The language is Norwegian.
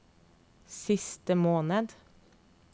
siste måned